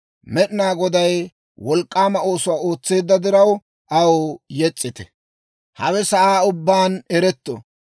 Med'inaa Goday wolk'k'aama oosuwaa ootseedda diraw, aw yes's'ite. Hawe sa'aa ubbaan eretto.